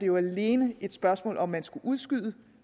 jo alene et spørgsmål om hvorvidt man skal udskyde